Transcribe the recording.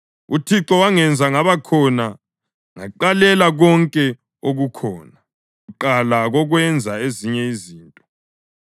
UThixo wangenza ngaba khona ngaqalela konke okukhona, kuqala kokwenza ezinye izinto;